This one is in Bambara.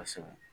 Kosɛbɛ